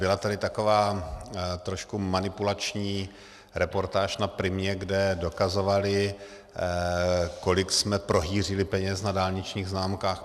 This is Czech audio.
Byla tady taková trošku manipulační reportáž na Primě, kde dokazovali, kolik jsme prohýřili peněz na dálničních známkách.